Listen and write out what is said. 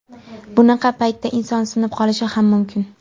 Bunaqa paytda inson sinib qolishi ham mumkin.